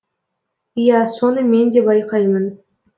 иә соны мен де байқаймын